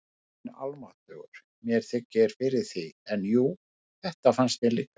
Guð minn almáttugur, mér þykir fyrir því, en jú, þetta fannst mér líka